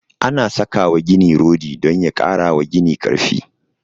Ana saka wa gini rodi don ya kara wa gini karfi